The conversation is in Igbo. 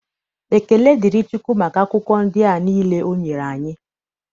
Ekele dịrị Chukwu maka akwụkwọ ndị a niile o nyere anyị.